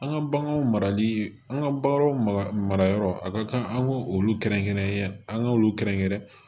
An ka baganw marali an ka baganw marayɔrɔ a ka kan an k'olu kɛrɛnkɛrɛn an k'olu kɛrɛnkɛrɛn